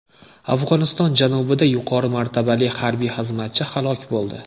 Afg‘oniston janubida yuqori martabali harbiy xizmatchi halok bo‘ldi.